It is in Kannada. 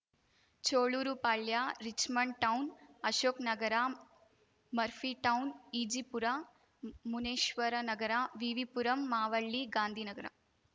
Cholur Palya Richmond town Ashok Nagar Murphy town Ejipura Muneshwara Nagar V V Puram Mavalli Gandhinagar